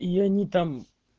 и они там